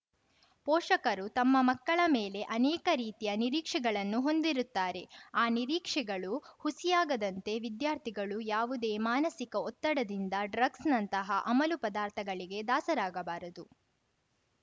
ಪೋಷಕರು ತಮ್ಮ ಮಕ್ಕಳ ಮೇಲೆ ಅನೇಕ ರೀತಿಯ ನಿರೀಕ್ಷೆಗಳನ್ನು ಹೊಂದಿರುತ್ತಾರೆ ಆ ನಿರೀಕ್ಷೆಗಳು ಹುಸಿಯಾಗದಂತೆ ವಿದ್ಯಾರ್ಥಿಗಳು ಯಾವುದೇ ಮಾನಸಿಕ ಒತ್ತಡದಿಂದ ಡ್ರಗ್ಸ್‌ನಂತಹ ಅಮಲು ಪದಾರ್ಥಗಳಿಗೆ ದಾಸರಾಗಬಾರದು